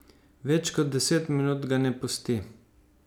Več kot deset minut ga ne pusti.